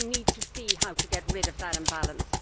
We need to see how to get rid of that imbalance.